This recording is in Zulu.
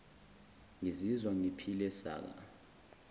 ngizizwa ngiphile saka